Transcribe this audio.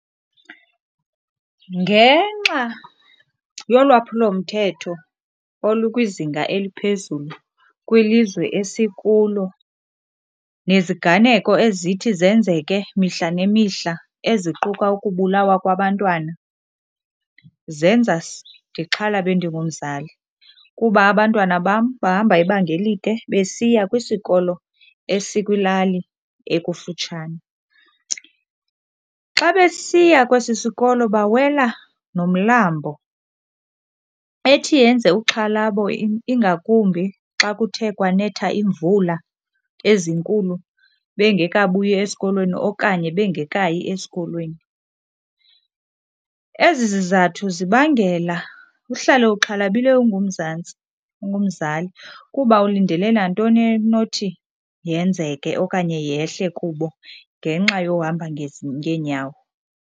Ngenxa yolwaphulomthetho olukwizinga eliphezulu kwilizwe esikulo neziganeko ezithi zenzeke mihla nemihla eziquka ukubulawa kwabantwana, zenza ndixhalabe ndingumzali kuba abantwana bam bahamba ibanga elide besiya kwisikolo esikwilali ekufitshane. Xa besiya kwesi sikolo bawela nomlambo. Ethi yenze uxhalabo ingakumbi xa kuthe kwanetha imvula ezinkulu bengekabuyi esikolweni okanye bengekayi esikolweni. Ezi zizathu zibangela uhlale uxhalabile ungumzantsi ungumzali ngoba ulindele nantoni enothi yenzeke okanye yehle kubo ngenxa yohamba ngezi ngeenyawo.